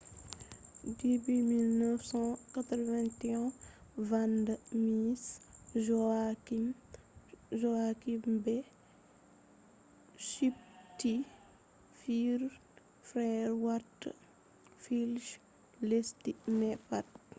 dubi 1981 vanda miss joaquim be suptti fure fere warta fulle je lesdi mai pat